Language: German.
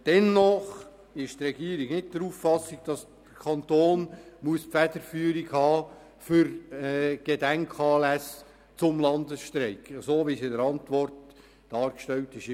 Dennoch ist die Regierung nicht der Auffassung, dass der Kanton die Federführung für Gedenkanlässe zum Landesstreik haben muss, so wie es in der Antwort dargestellt ist.